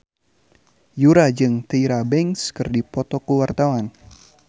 Yura jeung Tyra Banks keur dipoto ku wartawan